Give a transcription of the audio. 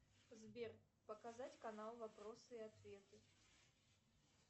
сбер показать канал вопросы и ответы